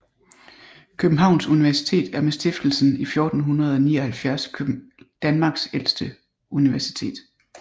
Københavns Universitet er med stiftelsen i 1479 Danmarks ældste universitet